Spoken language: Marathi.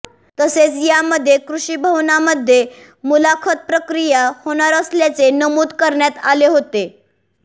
तसेच यामध्ये कृषी भवनामध्ये मुलाखत प्रक्रिया होणार असल्याचे नमूद करण्यात आले होते